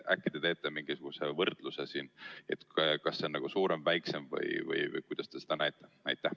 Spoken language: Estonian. Äkki te teete mingisuguse võrdluse: kas see maksumus on suurem või väiksem või kuidas te seda näete?